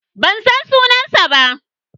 Ban san sunansa ba.